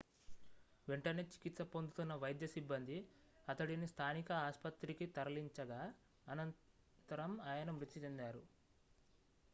వెంటనే చికిత్స పొందుతున్న వైద్య సిబ్బంది అతడిని స్థానిక ఆస్పత్రికి తరలించగా అనంతరం ఆయన మృతి చెందారు